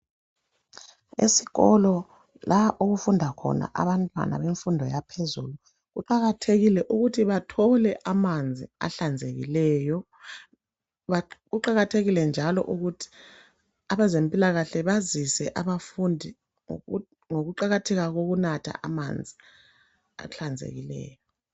Esikolo la okufunda khona abantwana bemfundo yaphezulu kuqakathekile ukuthi bathole amanzi ahlanzekileyo ba...Kuqakathekile njalo ukuthi abezempilakahle bazise abafundi ngoku...ngokuqakatheka kokunatha amanzi ahlanzekileyo.